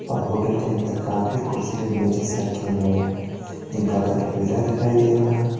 और होटल के अंदर काफी कुर्सी और मेज़ेज रखे हुए है जिनका कलर पीला दिखाई दे रहा है।